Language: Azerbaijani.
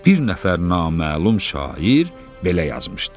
Bir nəfər naməlum şair belə yazmışdı: